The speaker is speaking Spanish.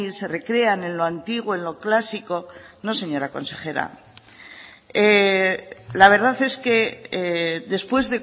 se recrean en lo antiguo en lo clásico no señora consejera la verdad es que después